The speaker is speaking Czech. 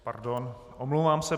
Pardon, omlouvám se.